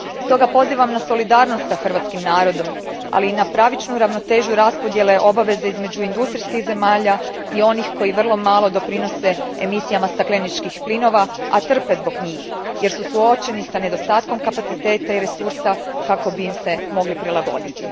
Stoga, pozivam na solidarnost s hrvatskim narodom ali i na pravičnu ravnotežu raspodijele obaveze između industrijskih zemalja i onih koje vrlo malo doprinose emisijama stakleničkih plinova, a trpe zbog njih, jer su suočeni s nedostatkom kapaciteta i resursa kako bi im se mogli prilagoditi.